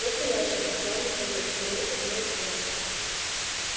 настоящие сказал михаил заметив мой взгляд